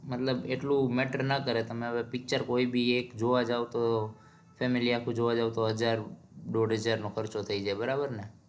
મતલબ એટલું matter ના કરે કે તમે હવે picture કોઈ ભી એક જોવા જાઓ તો family આખું જોવા જાઓ તો હજાર દોઢ હજાર નો ખર્ચો થઇ જાય બરાબર